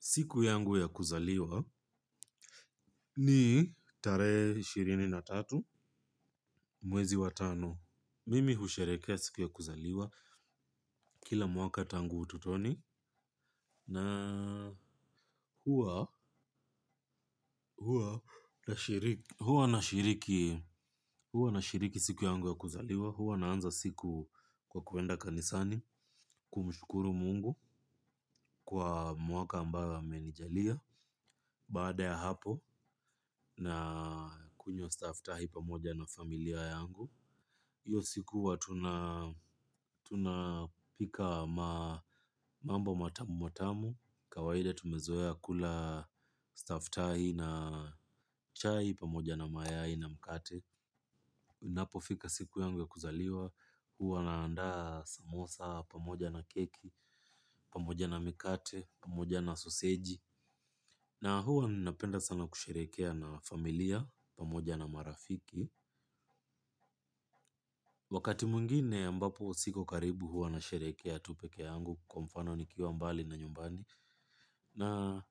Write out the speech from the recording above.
Siku yangu ya kuzaliwa ni tarehe ishirini na tatu mwezi wa tano. Mimi husherehekea siku ya kuzaliwa kila mwaka tangu ututoni huwa na shiriki siku yangu ya kuzaliwa. Huwa naanza siku kwa kuenda kanisani kumshukuru Mungu kwa mwaka ambao amenijalia. Baada ya hapo nakunywa stafftahi pamoja na familia yangu hio siku huwa tunapika mambo matamu matamu. Kawaida tumezoea kula stafftahi na chai pamoja na mayai na mkate inapofika siku yangu ya kuzaliwa. Huwa naandaa samosa pamoja na keki pamoja na mikate pamoja na soseji. Na huwa napenda sana kusherehekea na familia pamoja na marafiki wakati mwingine ambapo sipo karibu huwa nasherehekea tu pekee yangu kwa mfano nikiwa mbali na nyumbani. Na